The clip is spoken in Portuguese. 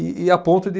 E e a ponto de